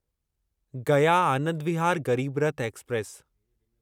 Gaya Anand Vihar Garib Rath express